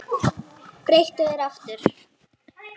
Breyttu þér aftur!